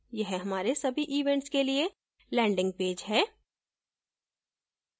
यह हमारे सभी events के लिए landing पेज है